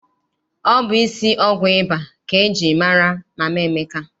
Ọ bụ isi ọgwụ ịba ka eji mara Mama Emeka.